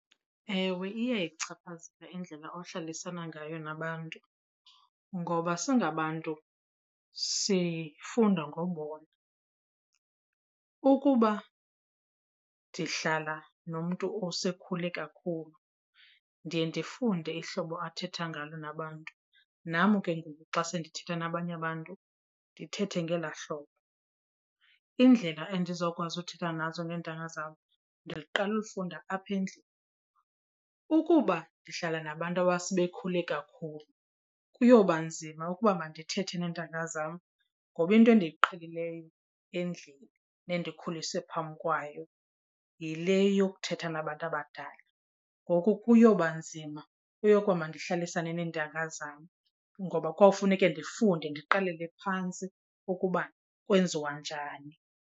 Ewe, iyayichaphazela indlela ohlalisana ngayo nabantu ngoba singabantu sifunda ngobona. Ukuba ndihlala nomntu osekhule kakhulu, ndiye ndifunde ihlobo athetha ngalo nabantu nam ke ngoku xa sendithetha nabanye abantu, ndithethe ngelaa hlobo. Indlela endizokwazi uthetha nazo ngentanga zam ndiqala ulifunda apha endlini. Ukuba ndihlala nabantu abasebekhulile kakhulu kuyoba nzima ukuba mandithethe neentanga zam ngoba into endiyiqhelileyo endlini nendikhuliswe phambi kwayo yile yokuthetha nabantu abadala. Ngoku kuyoba nzima uyoba mandihlalisane neentanga zam ngoba kwawufuneke ndifunde, ndiqalele phantsi ukuba kwenziwa njani.